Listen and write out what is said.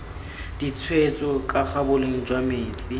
ditshwetso kaga boleng jwa metsi